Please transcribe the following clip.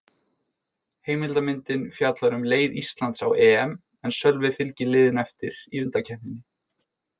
Heimildarmyndin fjallar um leið Íslands á EM en Sölvi fylgir liðinu eftir í undankeppninni.